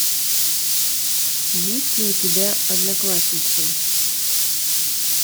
есть ли у тебя одноклассницы